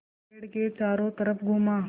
मैं पेड़ के चारों तरफ़ घूमा